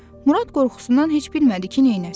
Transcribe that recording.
Murad qorxusundan heç bilmədi ki, neynəsin.